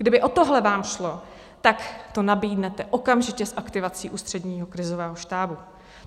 Kdyby o tohle vám šlo, tak to nabídnete okamžitě s aktivací Ústředního krizového štábu.